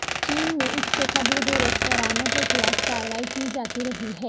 چین میں اس سے قبل بھی ریستورانوں کے خلاف کارروائی کی جاتی رہی ہے